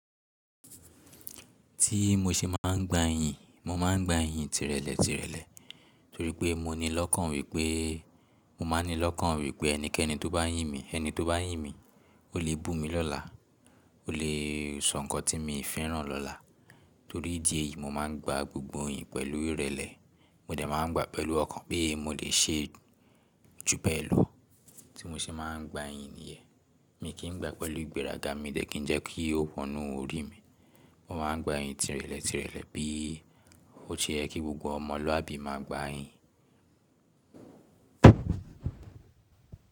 Tí mo ṣe máa ń gba yìn, mo máa ń gba yìn tírẹ̀lẹ̀ tírẹ̀lẹ̀ torí pé mo ní lọ́kàn wípé, mo máa ní lọ́kàn wípé ẹnikẹ́ni tó bá yìn mí, ẹni tó bá yìn mí, ó lè bù mí lọ́la, ó lè sọ ǹkan tí mi fẹ́ràn lọ́la. Torí ìdí èyí, mo máa ń gba gbogbo iyin pẹ̀lú ìrẹ̀lẹ̀. Mo dẹ̀ máa ń gba pẹ̀lú ọkàn pé mo lè ṣe ju bẹ́ẹ̀ lọ. Tí mo ṣe máa ń gba yìn nìyẹn, mi kì gba pẹ̀lú ìgbéraga, mi dẹ̀ kí n jẹ́ kí ó wọnú orí mi. Mo máa ń gba yìn tírẹ̀lẹ̀ tírẹ̀lẹ̀ bí ó ṣe yẹ kí gbogbo ọmọlúàbí máa gba yìn.